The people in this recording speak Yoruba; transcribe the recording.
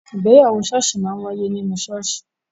Ìgbéyàwó ṣọọṣi máa ń waiye ninu ṣọọṣi